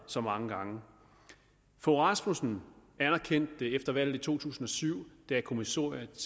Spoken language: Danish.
så mange gange fogh rasmussen anerkendte det efter valget i to tusind og syv da kommissoriet